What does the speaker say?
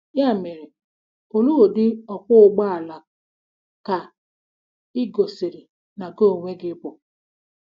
Ya mere, olee ụdị “ ọkwọ ụgbọ ala ” ka ị gosiri ná gị onwe gị ịbụ?